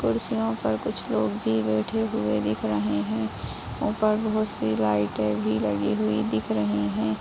कुर्सियों पर कुछ लोग भी बैठै हुए भी दिख रहे हैं। ऊपर बहुत-सी लाइटें भी लगी हुई दिख रही हैं।